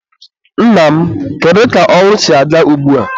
Nna m, kedu ka ọrụ si aga ugbua?